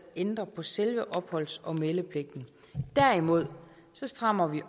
ændrer på selve opholds og meldepligten derimod strammer vi